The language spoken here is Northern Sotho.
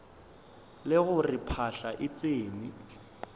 le gore phahla e tsene